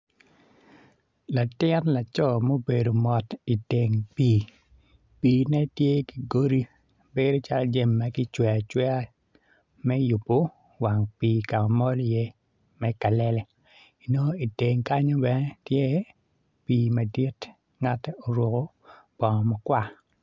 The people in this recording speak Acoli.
Latin laco mubedo mot i teng pii piine tye ki godi bedo calo jami ma kicweyo acweya me yubo wang pii ka ma mol iye me kalele inongo iteng kenyu bene tye pii madit ngate oruko bongo makwar.